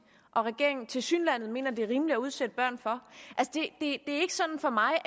og regeringen tilsyneladende mener er rimelig at udsatte børn for det er ikke sådan for mig